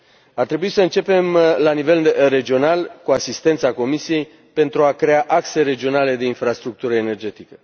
Ar trebui să începem la nivel regional, cu asistența Comisiei, pentru a crea axe regionale de infrastructură energetică.